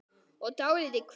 og dálítið kvíðin.